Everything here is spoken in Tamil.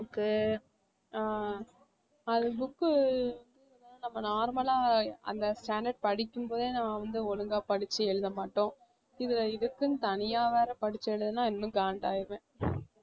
book உ ஆஹ் அது book உ நம்ம normal அந்த standard படிக்கும்போதே நான் வந்து ஒழுங்கா படிச்சு எழுத மாட்டோம் இதுல இதுக்குன்னு தனியா வேற படிச்சு எழுதினா இன்னும் காண்டாயிடுவேன்